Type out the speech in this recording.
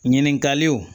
Ɲininkaliw